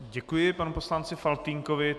Děkuji panu poslanci Faltýnkovi.